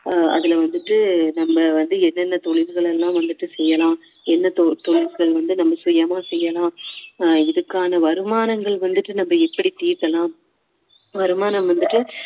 ஆஹ் அதுல வந்துட்டு நம்ம வந்து எந்தெந்த தொழில்கள் எல்லாம் வந்துட்டு செய்யலாம் என்ன தொ~ தொழில்கள் வந்துட்டு நம்ம சுயமா செய்யலாம் இதுக்கான வருமானங்கள் வந்துட்டு நம்ம எப்படி ஈட்டலாம் வருமானம் வந்துட்டு